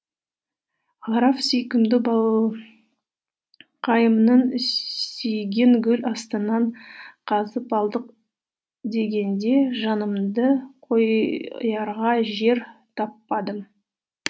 граф сүйкімді балақайымның сүйегін гүл астынан қазып алдық дегенде жанымды қоярға жер таппадым